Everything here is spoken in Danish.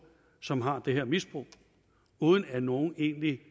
som har det her misbrug uden at nogen egentlig